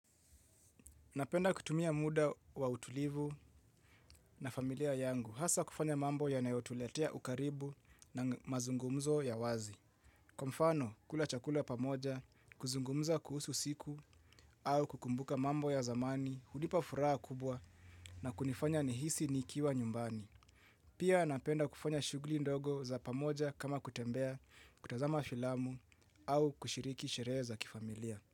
Napenda kutumia muda wa utulivu na familia yangu hasa kufanya mambo yanayotuletea ukaribu na mazungumzo ya wazi. Kwa mfano, kula chakula pamoja, kuzungumza kuhusu siku au kukumbuka mambo ya zamani, hunipa furaha kubwa na kunifanya nihisi nikiwa nyumbani. Pia napenda kufanya shuguli ndogo za pamoja kama kutembea, kutazama filamu au kushiriki sherehe za kifamilia.